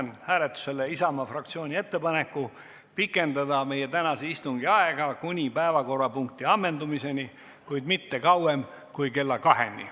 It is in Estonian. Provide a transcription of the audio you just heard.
Panen hääletusele Isamaa fraktsiooni ettepaneku pikendada meie tänast istungit kuni päevakorrapunkti ammendamiseni, kuid mitte kauem kui kella kaheni.